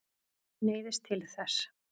Neyðist til þess.